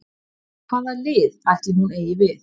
Hvað lið ætli hún eigi við?